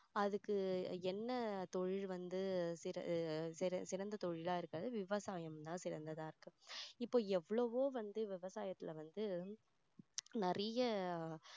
அதுக்கு என்ன தொழில் வந்து சிற~ சிறந்த தொழிலா இருக்கிறது விவசாயம் தான் சிறந்ததா இருக்கு இப்போ எவ்வளவோ வந்து விவசாயத்துல வந்து நிறைய